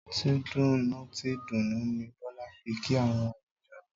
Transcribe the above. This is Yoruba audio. Tìdùnnútìdùnnú ni Bólá fi kí àwon àlejò rè